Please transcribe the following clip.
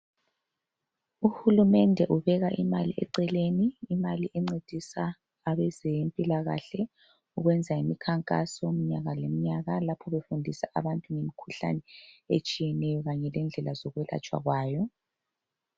Uhulumende ubeka imali eceleni ukuncedisa abezempilakahle ukwenza imikhankaso mnyaka yonke. Lapho bayabe befundisa abantu ngemikhuhlane etshiyeneyo kanye lendlela zokwelatshwa kwayo.